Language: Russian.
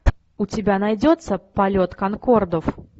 у тебя найдется полет конкордов